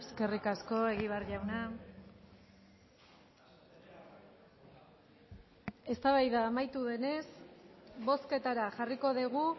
eskerrik asko egibar jauna eztabaida amaitu denez bozketara jarriko dugu